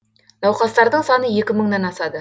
науқастардың саны екі мыңнан асады